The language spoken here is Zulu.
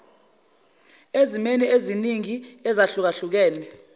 ezimweni eziningi ezahlukahlukene